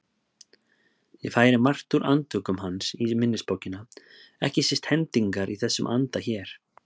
Ég færi margt úr Andvökum hans í minnisbókina, ekki síst hendingar í þessum anda hér